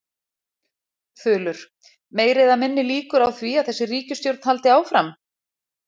Þulur: Meiri eða minni líkur á því að þessi ríkisstjórn haldi áfram?